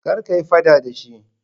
Kar kayi fada da shi.